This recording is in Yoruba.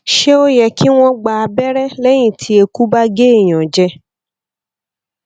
ṣé ó yẹ kí wọn gba abere lẹyìn tí eku ba ge eyan jẹ